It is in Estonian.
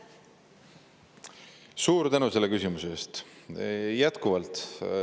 Suur tänu selle küsimuse eest!